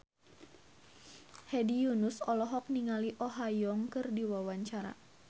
Hedi Yunus olohok ningali Oh Ha Young keur diwawancara